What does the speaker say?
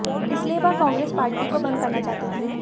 इसलिए वह कांग्रेस पार्टी को भंग करना चाहते थे